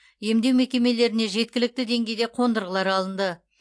емдеу мекемелеріне жеткілікті деңгейде қондырғылар алынды